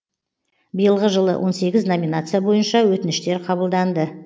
биылғы жылы он сегіз номинация бойынша өтініштер қабылданды